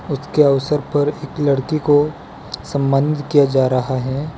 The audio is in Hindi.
रक्त के अवसर पर एक लड़की को सम्मानित किया जा रहा है।